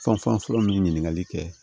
Fanfalɔ min ɲininkali kɛ